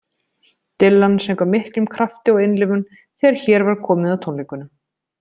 Dylan söng af miklum krafti og innlifun þegar hér var komið á tónleikunum.